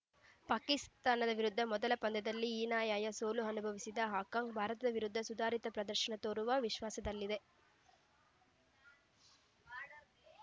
ಪಾಕಿಸ್ತಾನದ ವಿರುದ್ಧ ಮೊದಲ ಪಂದ್ಯದಲ್ಲಿ ಹೀನಾಯ್ಯ ಸೋಲು ಅನುಭವಿಸಿದ ಹಾಂಕಾಂಗ್‌ ಭಾರತ ವಿರುದ್ಧ ಸುಧಾರಿತ ಪ್ರದರ್ಶನ ತೋರುವ ವಿಶ್ವಾಸದಲ್ಲಿದೆ